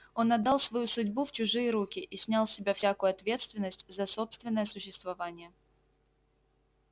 он отдал свою судьбу в чужие руки и снял с себя всякую ответственность за собственное существование